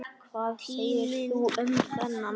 Hvað segir þú um þennan?